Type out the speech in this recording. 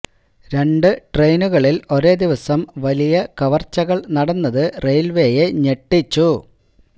രണ്ട് ട്രെയിനുകളില് ഒരേ ദിവസം വലിയ കവര്ച്ചകള് നടന്നത് റെയില്വെയെ ഞെട്ടിച്ചു